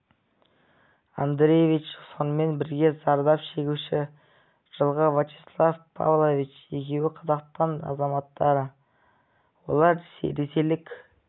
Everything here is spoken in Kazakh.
андреевич сонымен бірге зардап шегуші жылғы вячеслав павлович екеуі қазақстан азаматтары олар ресейлік